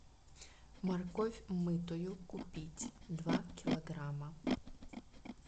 морковь мытую купить два килограмма